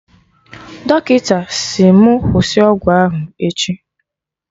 Dọkịta sị mụ kwụsị ọgwụ ahụ echi